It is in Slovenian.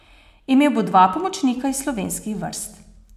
Imel bo dva pomočnika iz slovenskih vrst.